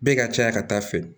Bɛɛ ka caya ka taa fɛ